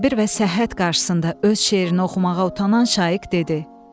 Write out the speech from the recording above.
Sabir və Səhhət qarşısında öz şeirini oxumağa utanan Şaiq dedi: